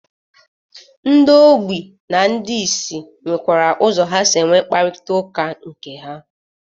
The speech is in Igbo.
Ndị ogbi na ndị isi nwekwara ụzọ ha si enwe nkparịtaụka nke ha.